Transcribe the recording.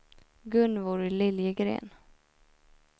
Gunvor Liljegren